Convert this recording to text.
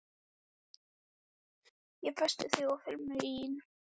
Ég festi þig á filmuna í nákvæmri athugun.